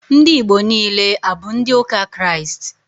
Ndị Igbo niile, abụ ndị ụka Kraịst?